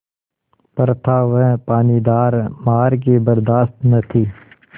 पर था वह पानीदार मार की बरदाश्त न थी